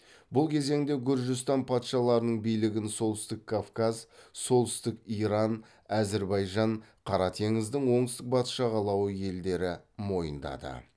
бұл кезеңде гүржістан патшаларының билігін солтүстік кавказ солтүстік иран әзірбайжан қара теңіздің оңтүстік батыс жағалауы елдері мойындады